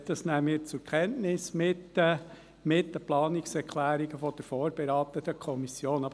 Das nehmen wir zusammen mit den Planungserklärungen der vorberatenden Kommission zur Kenntnis.